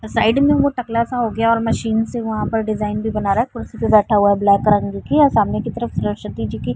और साइड में वो टकला सा हो गया है और मशीन से वहा पर डिजाइन भी बना रहा है कुर्सी पे बैठा हुआ है ब्लैक रंग दिखी है सामने की तरफ सरस्वती जी की --